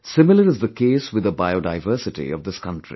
Similar is the case with the biodiversity of this country